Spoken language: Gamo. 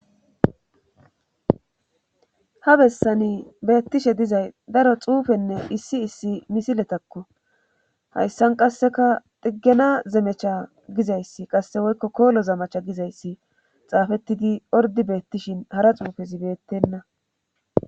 Ha bessani beettishe dizay daro xuufenne issi issi misiletakko hayssan qasseka diggena zemecha gizayssi qasse woykko koolo zamacha gizayssi xaafettidi ordi beettishin hara xuufe zibeettenna.